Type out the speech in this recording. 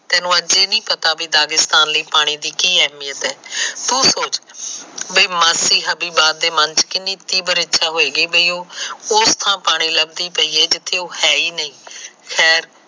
ਤੈਨੂੰ ਅੱਜ ਇਹ ਨਹੀਂ ਪਤਾ ਕਿ ਪਾਣੀ ਦੀ ਕੀ ਅਹਿਮੀਅਤ ਏ। ਤੂੰ ਸੋਚ ਕਿ ਮਾਸੀ ਕਿੰਨੀ ਤੀਵਰ ਇੱਛਾ ਹੋਏ ਗੀ ਕਿ ਉਹ ਉਸ ਥਾ ਪਾਣੀ ਲੱਬਦੀ ਪੈ ਆ ਜਿਥੇ ਉਹ ਹੈ ਹੀ ਨਹੀ ਖੈਰ